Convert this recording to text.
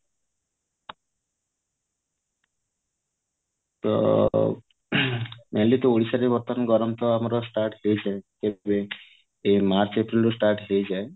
ତ mainly ଓଡିଶା ରେ ବର୍ତମାନ ଗରମ ତ ଆମର start ହେଇସାରିଛି ଏଇ ମାର୍ଚ ଏପ୍ରିଲ ରୁ start ହେଇଯାଏ